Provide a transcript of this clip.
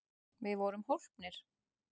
Við vorum hólpnir!